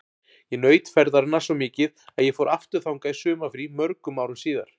Ég naut ferðarinnar svo mikið að ég fór aftur þangað í sumarfrí mörgum árum síðar.